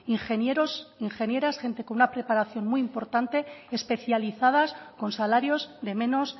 ingenieros ingenieras gente con una preparación muy importante especializadas con salarios de menos